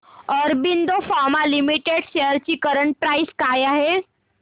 Aurobindo pharma limited shares ची current price काय आहे